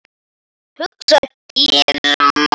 hugsaði Gizur.